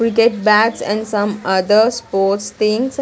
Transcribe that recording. Cricket bats and some other sports things.